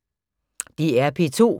DR P2